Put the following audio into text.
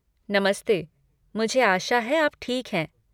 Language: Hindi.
नमस्ते, मुझे आशा है आप ठीक हैं।